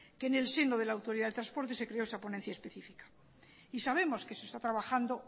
que en el seno de la autoridad de transportes se creo esta ponencia especifica y sabemos que se está trabajando